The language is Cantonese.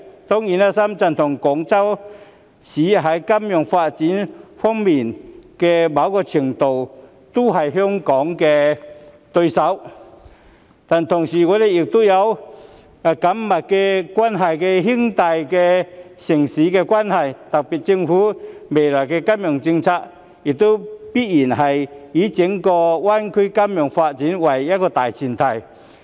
當然，深圳和廣州在某程度上也是香港在金融業發展方面的對手，但同時我們亦是有緊密關係的兄弟城市，特區政府未來的金融政策亦必然要以整個大灣區的金融業發展為大前提。